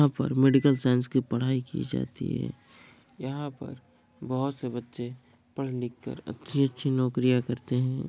यहाँ पर medical science की पढ़ाइ की जाती है यहाँ पर बहुत से बच्चे पढ़ लिख कर अच्छी-अच्छी नौकरियाँ करते हैं।